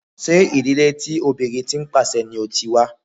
Ṣé ìdílé tí obìnrin tí ń pàṣe ni o ti wá?